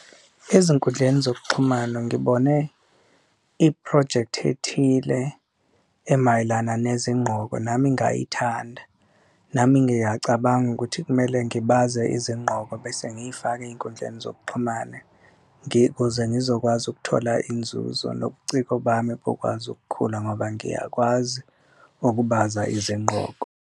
Ezinkundleni zokuxhumana ngibone iphrojekthi ethile emayelana nezinqoko nami ngayithanda, nami ngiyacabanga ukuthi kumele ngibaze izinqoko bese ngiyifake ey'nkundleni zokuxhumana. Kuze ngizokwazi ukuthola inzuzo nobuciko bami bukwazi ukukhula ngoba ngiyakwazi ukubaza izinqoko.